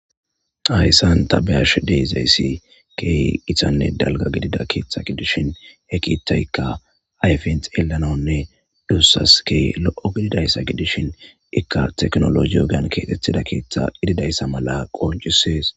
Hayssan tabeyash de'izayssi keeh gitanne dalga gidida keeththa gidishin he kiithaykka ayfens yelanonne duussas ke lo7o gididayssa gidishin ikka teknologi ogan keetettida keeththa gididayssa mala qoncisees